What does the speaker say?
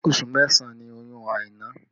Oṣù mẹ́sàn ni oyún Aina